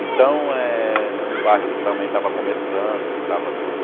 Então é um bairro que também estava começando, que estava tudo...